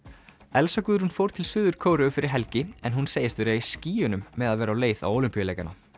Elsa Guðrún fór til Suður Kóreu fyrir helgi en hún segist vera í skýjunum með að vera á leið á Ólympíuleikana